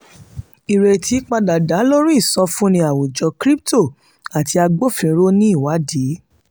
ìrètí padà dá lórí ìsọfúnni àwùjọ cs] crypto àti agbófinró ní ìwádìí.